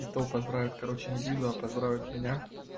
и то поздравит короче не лизу а поздравит меня